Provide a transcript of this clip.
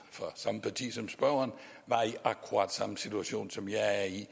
fra samme parti som spørgeren var i akkurat samme situation som jeg er i